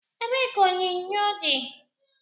Ebe ka onyonyo di?